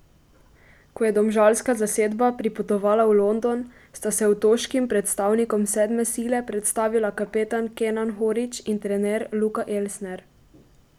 Ko je domžalska zasedba pripotovala v London, sta se otoškim predstavnikom sedme sile predstavila kapetan Kenan Horić in trener Luka Elsner.